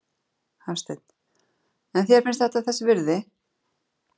Hafsteinn: En þér finnst þetta þess virði?